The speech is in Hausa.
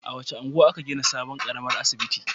A wace unguwa aka gina sabon ƙaramin asibiti?